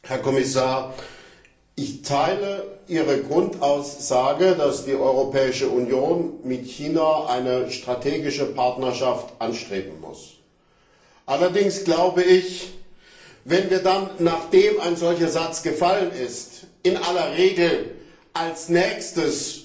Herr Kommissar, ich teile Ihre Grundaussage, dass die Europäische Union mit China eine strategische Partnerschaft anstreben muss. Allerdings glaube ich, wenn wir dann, nachdem ein solcher Satz gefallen ist, in aller Regel als Nächstes